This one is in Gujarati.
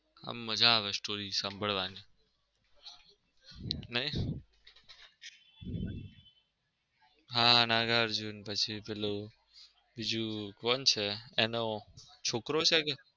એમ મજા આવે story સાંભળવાની નઈ હા નાગાર્જુન પછી પેલો બીજું કોણ છે એનો છોકરો છે કે?